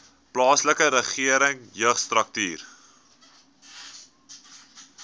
plaaslike regering jeugstrukture